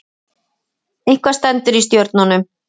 Eitthvað stendur í stjörnunum